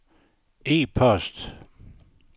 e-post